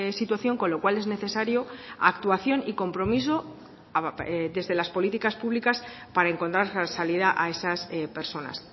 situación con lo cual es necesario actuación y compromiso desde las políticas públicas para encontrar salida a esas personas